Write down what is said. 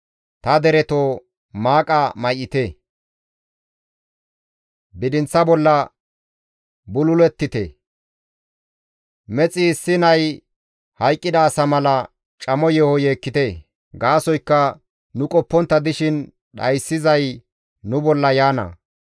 Ta deretoo maaqa may7ite; bidinththa bolla bululettite; mexi issi nay hayqqida asa mala camo yeeho yeekkite; gaasoykka nu qoppontta dishin dhayssizay nu bolla yaana.